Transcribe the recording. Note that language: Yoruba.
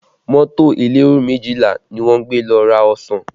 Mọ́tò elero méjìlá ni wọ́n gbé lọ ra ọsàn